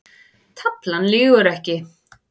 Taflan lýgur ekki